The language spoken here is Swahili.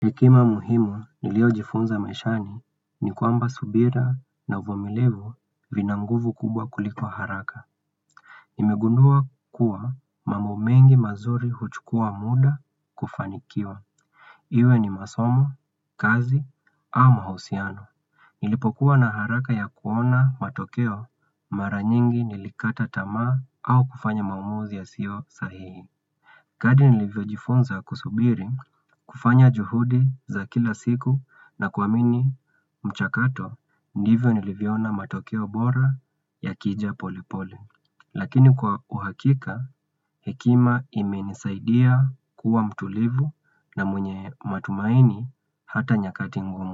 Hekima muhimu niliyojifunza maishani ni kwamba subira na uvumilivu vina nguvu kubwa kulikuwa haraka. Nimegundua kuwa mambo mengi mazuri huchukua muda kufanikiwa. Iwe ni masomo, kazi, au mahusiano. Nilipokuwa na haraka ya kuona matokeo mara nyingi nilikata tamaa au kufanya maamuzi yasiyo sahihi. Kadri nilivyojifunza kusubiri kufanya juhudi za kila siku na kuamini mchakato ndivyo nilivyoona matokeo bora yakija polepole. Lakini kwa uhakika, hekima imenisaidia kuwa mtulivu na mwenye matumaini hata nyakati ngumu.